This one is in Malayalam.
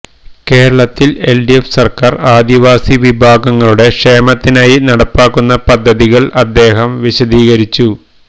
കേരളത്തില് എല്ഡിഎഫ് സര്ക്കാര് ആദിവാസിവിഭാഗങ്ങളുടെ ക്ഷേമത്തിനായി നടപ്പാക്കുന്ന പദ്ധതികള് അദ്ദേഹം വിശദീകരിച്ചു